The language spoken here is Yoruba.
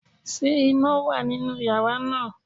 Ṣé iná wà nínú yàrá náà?